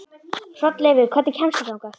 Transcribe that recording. Hrolleifur, hvernig kemst ég þangað?